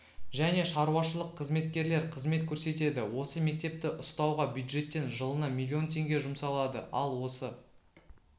және шаруашылық қызметкерлер қызмет көрсетеді осы мектепті ұстауға бюджеттен жылына миллион теңге жұмсалады ал осы